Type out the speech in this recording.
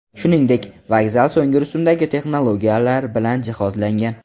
Shuningdek, vokzal so‘nggi rusumdagi texnologiyalar bilan jihozlangan.